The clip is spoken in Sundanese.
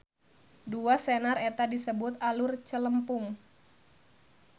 Dua senar eta disebut alur celempung.